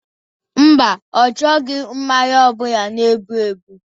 Mba, ọ chọghọ mmanya ọbụla na-egbu egbu